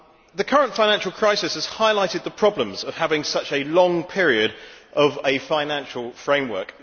The current financial crisis has highlighted the problems of having such a long period for a financial framework.